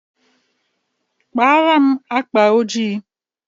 Kpaara m akpa ojii.